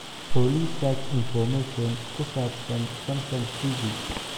olly search information ku saabsan samsung t. v.